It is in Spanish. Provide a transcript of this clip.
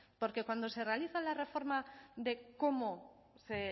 porque cuando se realiza la reforma de cómo se